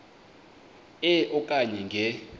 e okanye nge